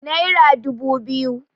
naira dubu biyu